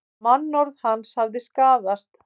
Mannorð hans hafi skaðast